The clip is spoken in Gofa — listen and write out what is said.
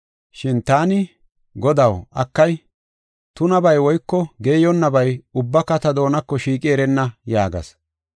“Shin taani, ‘Godaw, akay, tunabay woyko geeyonnabay ubbaka ta doonako shiiqi erenna’ yaagas.